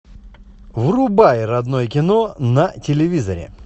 врубай родное кино на телевизоре